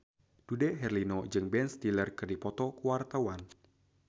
Dude Herlino jeung Ben Stiller keur dipoto ku wartawan